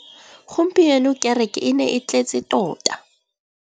Gompieno kêrêkê e ne e tletse tota.